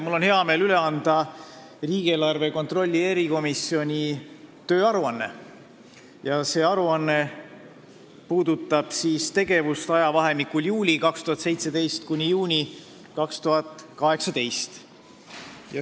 Mul on hea meel anda üle riigieelarve kontrolli erikomisjoni tööaruanne, mis puudutab meie tegevust ajavahemikul juulist 2017 kuni juunini 2018.